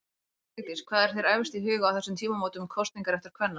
Frú Vigdís, hvað er þér efst í huga á þessum tímamótum kosningaréttar kvenna?